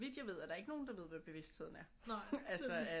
Så vidt jeg ved er der ikke nogen der ved hvad bevidstheden er altså af